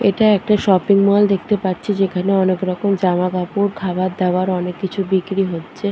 এটা একটা shopping mall দেখতে পাচ্ছি যেখানে অনেক রকম জামাকাপড় খাবার দাবার অনেক কিছু বিক্রি হচ্ছে।